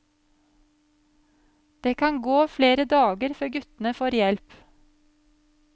Det kan gå flere dager før guttene får hjelp.